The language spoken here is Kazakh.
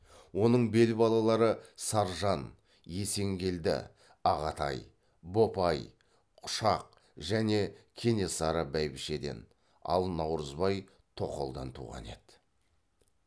оның бел балалары саржан есенгелді ағатай бопай құшақ және кенесары бәйбішеден ал наурызбай тоқалдан туған еді